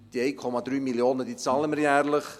Die 1,3 Mio. Franken bezahlen wir jährlich.